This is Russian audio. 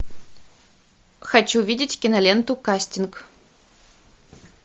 хочу видеть киноленту кастинг